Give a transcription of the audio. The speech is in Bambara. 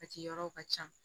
A ciyɔrɔw ka ca